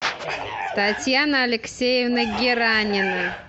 татьяна алексеевна геранина